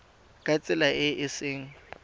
ka tsela e e seng